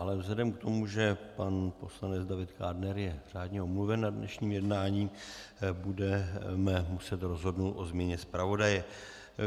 Ale vzhledem k tomu, že pan poslanec David Kádner je řádně omluven na dnešním jednání, budeme muset rozhodnout o změně zpravodaje.